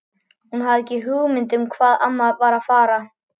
Hún hafði ekki hugmynd um hvað amma var að fara.